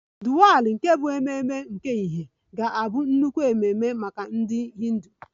Diwali nke bụ ememme nke ìhè, ga-abụ nnukwu ememe maka ndị Hindu